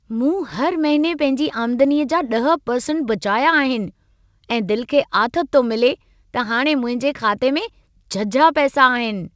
मूं हर महिने पंहिंजी आमदनीअ जा 10% बचाया आहिन ऐं दिल खे आथत थो मिले त हाणे मुंहिंजे खाते में झझा पैसा आहिन।